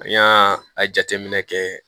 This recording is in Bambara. An y'a a jateminɛ kɛ